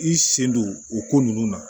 I sen don o ko ninnu na